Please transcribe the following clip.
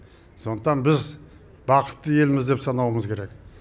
сондықтан біз бақытты елміз деп санауымыз керек